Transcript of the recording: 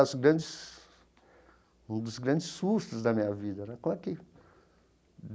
Dos grandes um dos grandes sustos da minha vida né como é que.